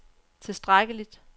tilstrækkeligt